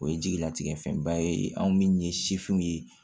O ye jigilatigɛ fɛnba ye anw min ye sifinw ye